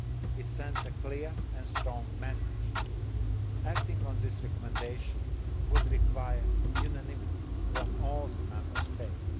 case. It sends a clear and strong message. Acting on this recommendation would require unanimity from all the Member